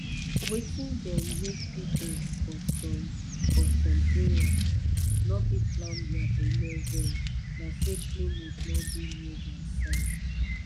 wetin dey make people for some for some area no fit plan their belle well na say clinic no dey near dia side